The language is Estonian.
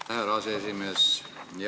Aitäh, härra aseesimees!